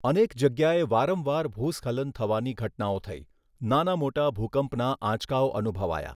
અનેક જગ્યાએ વારંવાર ભૂસ્ખલન થવાની ઘટનાઓ થઈ, નાના મોટા ભૂકંપના આંચકાઓ અનુભવાયા.